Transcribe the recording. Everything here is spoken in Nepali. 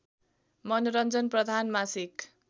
मनोरञ्जन प्रधान मासिक